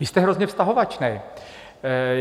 Vy jste hrozně vztahovačný.